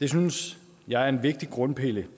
det synes jeg er en vigtig grundpille